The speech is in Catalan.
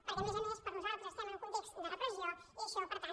perquè a més a més nosaltres estem en un context de repressió i això per tant